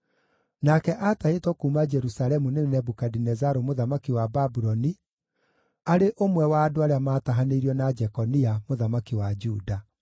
nake aatahĩtwo kuuma Jerusalemu nĩ Nebukadinezaru mũthamaki wa Babuloni, arĩ ũmwe wa andũ arĩa maatahanĩirio na Jekonia, mũthamaki wa Juda.